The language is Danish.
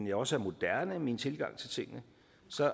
jeg også er moderne i min tilgang til tingene